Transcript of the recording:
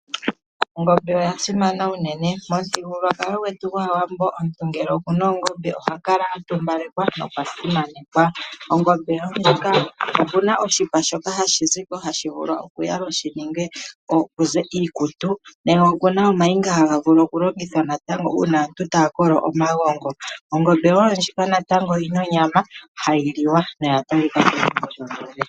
Ongombe oya simana unene. Momuthigululwakalo gwetu gwAawambo omuntu ngele okuna oongombe oha kala a tumbalekwa nokwasimanekwa. Ongombe oyi na oshipa shoka hashi zi ko hashi vulu okuyalwa ku ze iikutu, nenge okuna omayinga haga vulu okulongithwa natango uuna aantu taya kolo omagongo. Ongombe wo ndjika oyi na onyama hayi liwa.